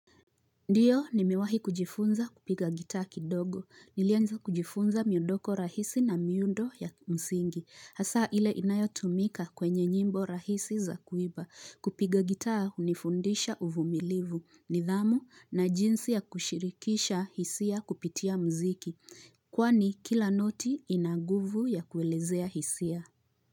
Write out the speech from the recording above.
Ndiyo nimewahi kujifunza kupiga gitaa kidogo. Nilianza kujifunza miondoko rahisi na miundo ya msingi. Hasa ile inayotumika kwenye nyimbo rahisi za kuimba. Kupiga gitaa hunifundisha uvumilivu. Nidhamu na jinsi ya kushirikisha hisia kupitia muziki. Kwani kila noti ina nguvu ya kuelezea hisia.